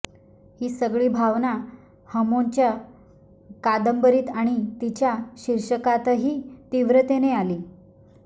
ही सगळी भावना हमोंच्या कादंबरीत आणि तिच्या शीर्षकातही तीव्रतेने आली